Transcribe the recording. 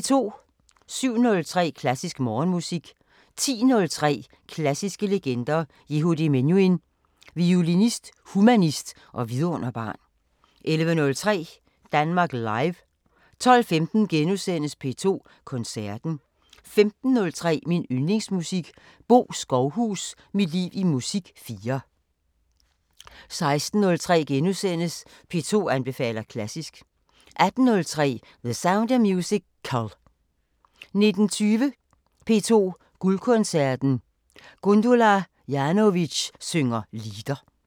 07:03: Klassisk Morgenmusik 10:03: Klassiske legender: Yehudi Menuhin – Violinist, humanist og vidunderbarn 11:03: Danmark Live 12:15: P2 Koncerten * 15:03: Min Yndlingsmusik: Bo Skovhus – mit liv i musik 4 16:03: P2 anbefaler klassisk * 18:03: The Sound of Musical 19:20: P2 Guldkoncerten: Gundula Janowitz synger lieder